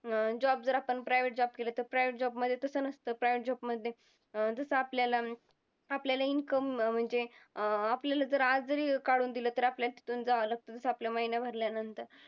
job जर आपण private job केले तर private job मध्ये तसं नसतं. private job मध्ये अं जसं आपल्याला आपल्याला income म्हणजे अं आपल्याला जर आज जरी काढून दिलं तर आपल्याला तिथून जावं लागतं तसं आपला महिना भरल्यानंतर